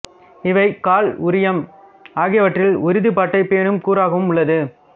இவை காழ் உரியம் ஆகியவற்றில் உறுதிப்பாட்டைப் பேணும் கூறாகவும் உள்ளது